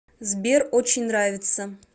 сбер очень нравится